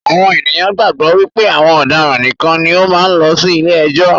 Àwọn ènìyàn gbàgbọ́ wípé àwọn ọ̀daràn nìkan ni ó máa ń lọ sí ilé ẹjọ́